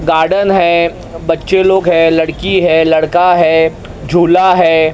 Garden है बच्चे लोग है लड़की है लड़का है झूला है।